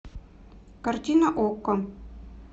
картина окко